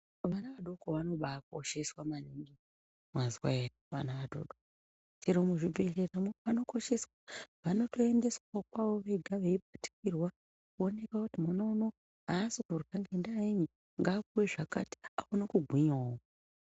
Vana vadoko vanobakosheswa maningi mwazwa ere vana vadoko chemuzvibhehleramo vanokosheswa vanotoendesawo kwavo vega veibatikirwa kuonekwe kuti mwana uno asi kurya ngendayenyi ngapuwe zvakati akone kugwinyayo.